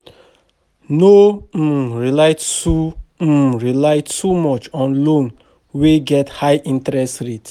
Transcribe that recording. No um rely soo um rely too much on loan wey get high interest rate